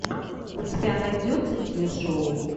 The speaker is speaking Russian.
у тебя найдется телешоу